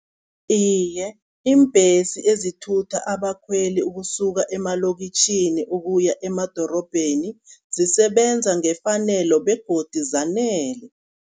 Iye, iimbhesi ezithutha abakhweli ukusuka emalokitjhini ukuya emadorobheni zisebenza ngefanelo begodi zanele.